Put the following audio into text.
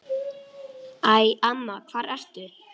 Æ, amma, hvar ertu?